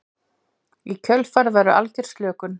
Í kjölfarið verður algjör slökun.